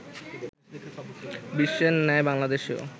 বিশ্বের ন্যায় বাংলাদেশেও